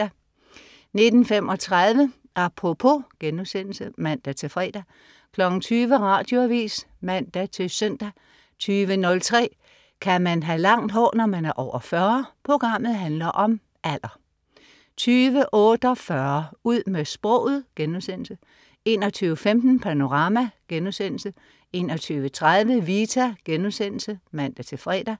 19.35 Apropos* (man-fre) 20.00 Radioavis (man-søn) 20.03 Kan man have langt hår, når man er over 40? Programmet handler om alder 20.48 Ud med sproget* 21.15 Panorama* 21.30 Vita* (man-fre)